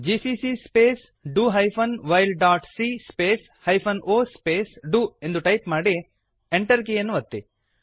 GCC space do hyphen while dot C space hyphen O space do ಎಂದು type ಮಾಡಿ Enter ಕೀಯನ್ನು ಒತ್ತಿ